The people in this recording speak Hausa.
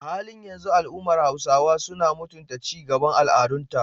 A halin yanzu, al’ummar Hausawa suna mutunta ci gaban al’adunta